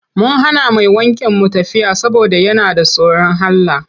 Mun hana mai wankin mu tafiya saboda yana da tsorin Allah.